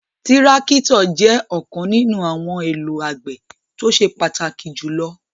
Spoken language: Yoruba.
Tirakitọ jẹ ọkan ninu awọn ohun elo agbe to ṣe pataki julọ